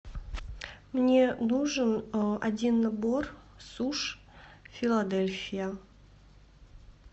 мне нужен один набор суши филадельфия